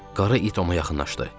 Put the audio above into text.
Qara it ona yaxınlaşdı.